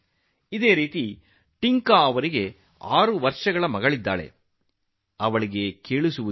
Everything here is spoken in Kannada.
ಅದೇ ರೀತಿ ಟಿಂಕಾಜಿಗೆ ಆರು ವರ್ಷದ ಮಗಳಿದ್ದು ಅವಳಿಗೆ ಕಿವಿ ಕೇಳುವುದಿಲ್ಲ